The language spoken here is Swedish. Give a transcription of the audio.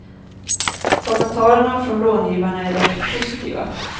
Kommenterarerna från långivarna är dock positiva.